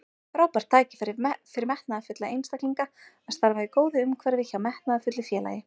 Frábært tækifæri fyrir metnaðarfulla einstaklinga að starfa í góðu umhverfi hjá metnaðarfullu félagi.